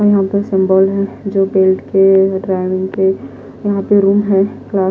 यहां पर सिंबल हैजो बेल्ट के ड्राइविंग के यहां पे रूम है--